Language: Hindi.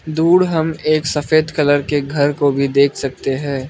दूर हमें एक सफेद कलर के घर को भी देख सकते हैं।